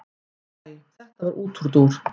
Æ þetta var útúrdúr.